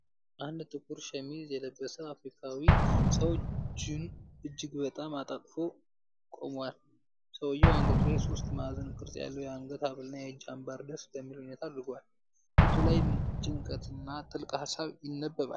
አንድ ጥቁር ሸሚዝ የለበሰ አፍሪካዊ ሰው እጆቹን እጅግ በጣም አጣጥፎ ቆሟል። ሰውዬው አንገቱ ላይ ባለ ሶስት ማዕዘን ቅርፅ ያለው የአንገት ሐብልና የእጅ አምባር ደስ በሚል ሁኔታ አድርጓል። ፊቱ ላይ ጭንቀትና ጥልቅ ሃሳብ ይነበባል።